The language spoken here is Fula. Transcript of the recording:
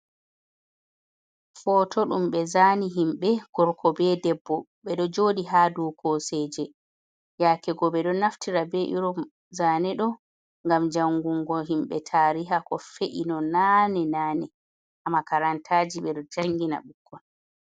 Foto ɗum ɓe zani himɓe korko be debbo, ɓeɗo joɗi ha do koseje, yaake ko ɓe ɗo naftira be irum zane ɗo gam jangungo himɓe tariha ko fe’i no nane - nane, ha makarantaji ɓe ɗo janggina ɓikkon.